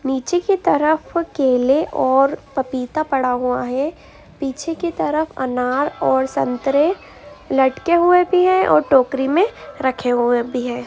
नीचे की तरफ केले और पपीता पड़ा हुआ है। पीछे की तरफ अनार और संतरे लटके हुए भी हैं और टोकरी में रखे हुए भी हैं।